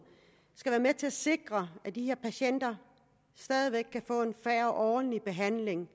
skal være med til at sikre at de her patienter stadig væk kan få en fair og ordentlig behandling